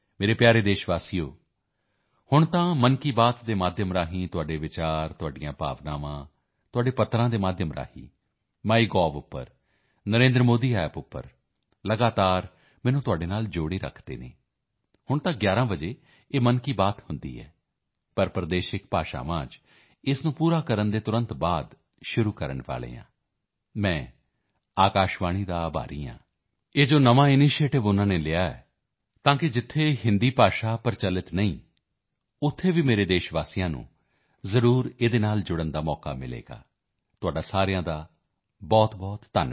ਮੇਰੇ ਪਿਆਰੇ ਦੇਸ਼ਵਾਸੀਓ ਹੁਣ ਤਾਂ ਮਨ ਕੀ ਬਾਤ ਦੇ ਮਾਧਿਅਮ ਨਾਲ ਆਪਣੇ ਵਿਚਾਰ ਆਪਣੀਆਂ ਭਾਵਨਾਵਾਂ ਆਪਣੇ ਪੱਤਰਾਂ ਦੇ ਮਾਧਿਅਮ ਨਾਲ ਮਾਈਗੋਵ ਤੇ NarendraModiApp ਤੇ ਲਗਾਤਾਰ ਮੈਨੂੰ ਤੁਹਾਡੇ ਨਾਲ ਜੋੜ ਕੇ ਰੱਖਦੇ ਹਨ ਹੁਣ ਤਾਂ 11 ਵਜੇ ਇਹ ਮਨ ਕੀ ਬਾਤ ਹੁੰਦੀ ਹੈ ਪਰ ਪ੍ਰਦੇਸ਼ਿਕ ਭਾਸ਼ਾਵਾਂ ਵਿੱਚ ਇਸ ਨੂੰ ਪੂਰਾ ਕਰਨ ਤੋਂ ਤੁਰੰਤ ਬਾਅਦ ਸ਼ੁਰੂ ਕਰਨ ਵਾਲੇ ਹਾਂ ਮੈਂ ਆਕਾਸ਼ਵਾਣੀ ਦਾ ਆਭਾਰੀ ਹਾਂ ਇਹ ਨਵਾਂ ਉਨ੍ਹਾਂ ਨੇ ਜੋ ਇਨੀਸ਼ੀਏਟਿਵ ਲਿਆ ਹੈ ਤਾਂ ਕਿ ਜਿੱਥੇ ਹਿੰਦੀ ਭਾਸ਼ਾ ਪ੍ਰਚਲਿਤ ਨਹੀਂ ਹੈ ਉੱਥੋਂ ਦੇ ਵੀ ਮੇਰੇ ਦੇਸ਼ ਵਾਸੀਆਂ ਨੂੰ ਜ਼ਰੂਰ ਇਸ ਨਾਲ ਜੁੜਨ ਦਾ ਅਵਸਰ ਮਿਲੇਗਾ ਤੁਹਾਡਾ ਸਾਰਿਆਂ ਦਾ ਬਹੁਤਬਹੁਤ ਧੰਨਵਾਦ